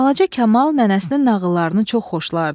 Balaca Kamal nənəsinin nağıllarını çox xoşlardı.